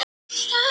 Dró í land